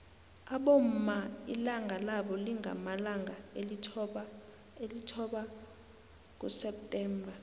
abomma ilanga labo lingamalanga alithoba kuseptember